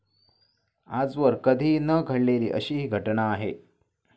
आजवर कधीही न घडलेली अशी ही घटना आहे.